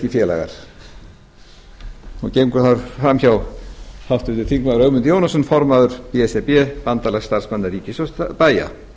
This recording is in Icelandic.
félagar gengur þar fram hjá háttvirtum þingmanni ögmundur jónasson formaður b s r b bandalags starfsmanna ríkis og bæja